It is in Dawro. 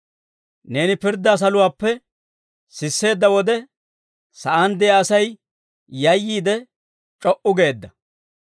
Neeni pirddaa saluwaappe sisseedda wode, sa'aan de'iyaa Asay yayyiide, c'o"u geedda.